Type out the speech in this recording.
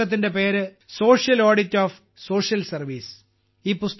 പുസ്തകത്തിന്റെ പേര് social audit of social service